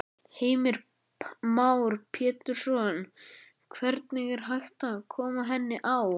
Heimir Már Pétursson: Hvernig er hægt að koma henni á?